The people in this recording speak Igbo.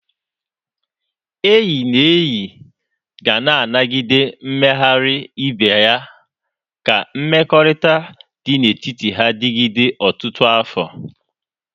Enyi na enyi ga na-anagide mmeghari ibe ya ka mmekọrịta dị n'etiti ha digide ọtụtụ afọ.